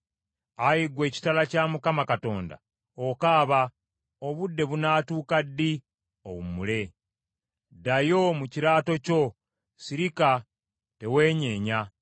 “ ‘Ayi ggwe ekitala kya Mukama Katonda, okaaba, obudde bunaatuuka ddi owummule? Ddayo mu kiraato kyo sirika teweenyeenya.’